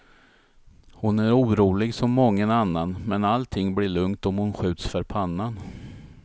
Hon är orolig som mången annan, men allting blir lugnt om hon skjuts för pannan.